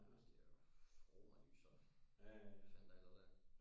Ja det er jo romerlys og hvad fanden der ellers er